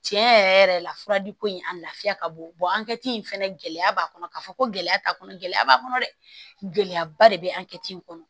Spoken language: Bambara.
Tiɲɛ yɛrɛ yɛrɛ la fura di ko in a lafiya ka bon angɛrɛ ti in fɛnɛ gɛlɛya b'a kɔnɔ k'a fɔ ko gɛlɛya t'a kɔnɔ gɛlɛya b'a kɔnɔ dɛ gɛlɛya ba de be an kɛ in kɔnɔ